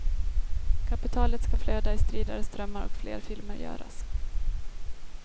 Kapitalet ska flöda i stridare strömmar och fler filmer göras.